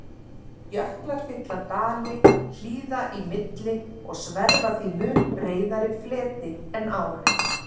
Jöklar fylla dali hlíða í milli og sverfa því mun breiðari fleti en ár.